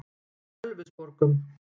Ölfusborgum